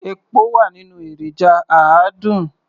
Epo wà nínú èròjà àádùn.